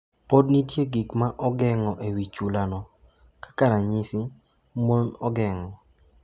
Podi nitie gik ma ogeng’o e wi chulano, kaka ranyisi, mon ogeng’o.